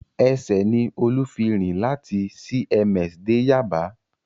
Ẹsẹ̀ ni Olú fi rìn láti CMS dé Yaba